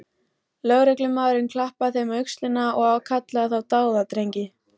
Lögreglumaðurinn klappaði þeim á öxlina og kallaði þá dáðadrengi.